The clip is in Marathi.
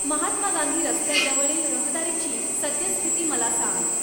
महात्मा गांधी रस्त्याजवळील रहदारीची सद्यस्थिती मला सांग